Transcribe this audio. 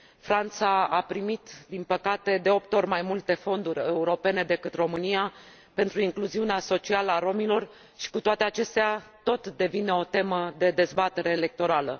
Franța a primit, din păcate, de opt ori mai multe fonduri europene decât România pentru incluziunea socială a romilor și, cu toate acestea, tot devine o temă de dezbatere electorală.